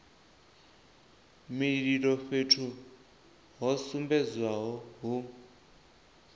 mililo fhethu ho sumbedzwaho hu